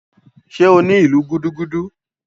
Ṣé o ní ìlù gúdúgúdú?